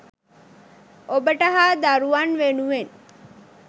ඔබට හා දරුවන් වෙනුවෙන්